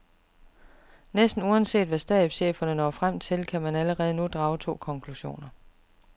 Næsten uanset hvad stabscheferne når frem til, kan man allerede nu drage to konklusioner.